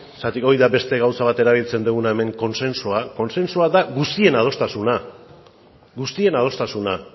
zergatik hori da beste gauza bat erabiltzen duguna hemen kontsensua kontsensua da guztien adostasuna guztien adostasuna